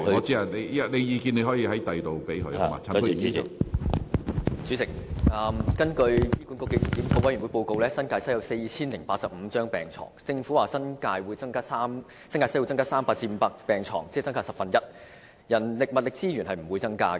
主席，根據醫管局檢討督導委員會的報告，新界西聯網有4085張病床，政府表示該聯網將會增加300張至500張病床，即增加大約 10%， 但人力和物力資源則不會增加。